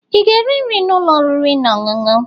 ị ga-eri nri na ụlọ oriri na ọṅụṅụ?